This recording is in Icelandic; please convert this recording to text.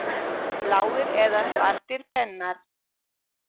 Bláir eða svartir pennar?